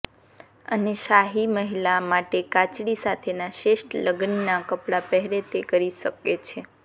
અને શાહી મહિલા માટે કાંચળી સાથેના શ્રેષ્ઠ લગ્નનાં કપડાં પહેરે તે કરી શકે છે